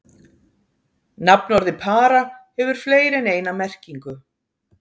Nafnorðið para hefur fleiri en eina merkingu.